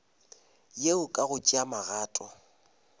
yeo ka go tšea magato